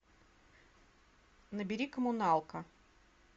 набери коммуналка